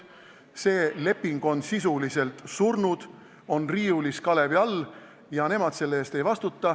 See leping on sisuliselt surnud, on kalevi all, ja erinevalt Ain Seppikust nemad selle eest ei vastuta.